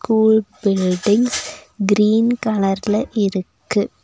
School building green கலர்ல இருக்கு.